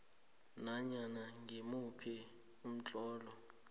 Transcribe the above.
nanyana ngimuphi umtlolo